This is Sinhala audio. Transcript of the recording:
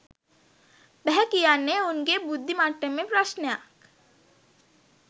බැහැ කියන්නේ උන්ගේ බුද්දි මට්ටමේ ප්‍රශ්නයක්